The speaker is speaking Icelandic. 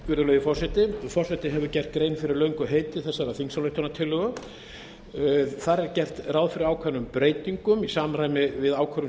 virðulegi forseti forseti hefur gert grein fyrir löngu heiti þessarar þingsályktunartillögu þar er gert ráð fyrir ákveðnum breytingum í samræmi við ákvörðun sameiginlegu e